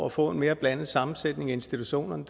at få en mere blandet sammensætning i institutionerne